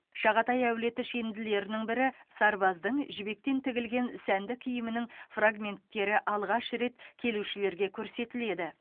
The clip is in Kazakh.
шағатай әулеті шенділерінің бірі сарбаздың жібектен тігілген сәнді киімінің фрагменттері алғаш рет келушілерге көрсетіледі